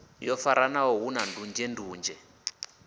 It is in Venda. yo faranaho hu na ndunzhendunzhe